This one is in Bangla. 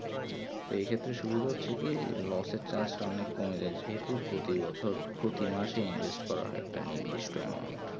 তো এই ক্ষেত্রে সুবিধা হচ্ছে কি loss এর chance তা অনেক কমে যায় যেহুতু প্রতি বছর প্রতি মাসে invest করা হয় একটা নির্দিষ্ট amount